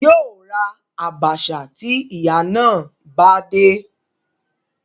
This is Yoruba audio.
Yóò ra àbàṣà tí ìyà náà bá dé